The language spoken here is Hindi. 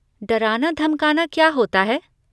डराना धमकाना क्या होता है?